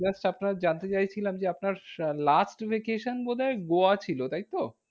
Just আপনার জানতে চাইছিলাম যে, আপনার আহ last vacation বোধহয় গোয়া ছিল, তাই তো?